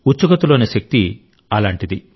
ఉత్సుకత లోని శక్తి అలాంటిది